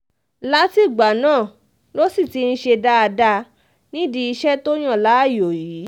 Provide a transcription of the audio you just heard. látìgbà náà ló sì ti ń ṣe dáadáa nídìí iṣẹ́ tó yàn láàyò yìí